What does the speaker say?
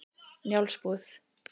Njálsbúð